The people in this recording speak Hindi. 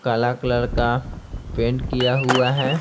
काला कलर का पेंट किया हुआ है।